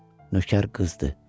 Nökər qızdır.